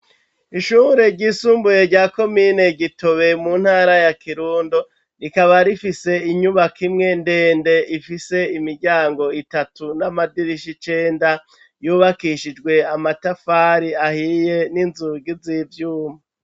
Ishuhure ry'isumbuye rya komine Gitobe, mu ntara ya kirundo ,rikaba rifise inyubaka imwe ndende ifise imiryango itatu, n'amadirishi icenda ,yubakishijwe amatafari ahiye n'inzugi z'ivyuma.